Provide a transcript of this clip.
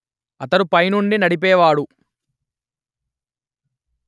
అతడు పైనుండి నడిపేవాడు